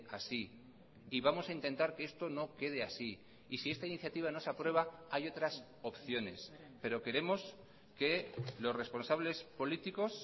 así y vamos a intentar que esto no quede así y si esta iniciativa no se aprueba hay otras opciones pero queremos que los responsables políticos